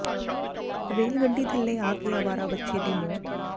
rail ਗੱਡੀ ਥੱਲੇ ਆ ਕੇ ਅਵਾਰਾ ਵੱਛੇ ਦੀ ਮੌਤ